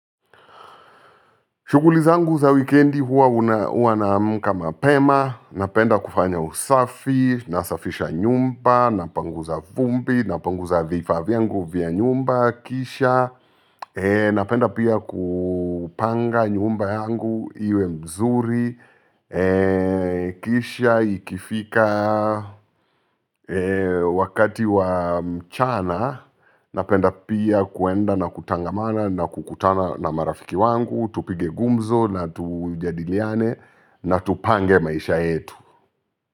Shughuli zangu za wikiendi huwa naamka mapema napenda kufanya usafi, nasafisha nyumba, napanguza vumbi, napanguza vifaa vifaa vyangu vya nyumba kisha, napenda pia kupanga nyumba yangu iwe mzuri kisha ikifika wakati wa mchana napenda pia kwenda na kutangamana na kukutana na marafiki wangu tupige gumzo na tujadiliane na tupange maisha yetu.